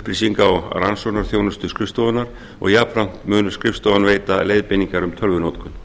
upplýsinga og rannsóknarþjónustu skrifstofunnar og jafnframt mun skrifstofan veita leiðbeiningar um tölvunotkun